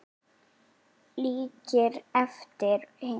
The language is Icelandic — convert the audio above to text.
Líkir eftir hinum látna